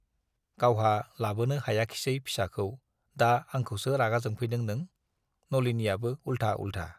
गावहा लाबोनो हायाखिसै फिसाखौ, दा आंखौसो रागा जोंफैदों नों? नलिनीयाबो उल्था-उल्था।